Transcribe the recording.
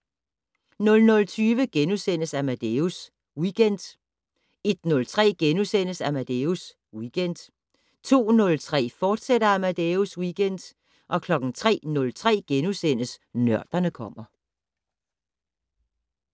00:20: Amadeus Weekend * 01:03: Amadeus Weekend * 02:03: Amadeus Weekend, fortsat 03:03: Nørderne kommer *